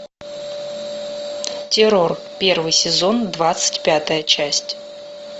террор первый сезон двадцать пятая часть